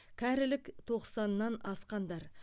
кәрілік тоқсаннан асқандар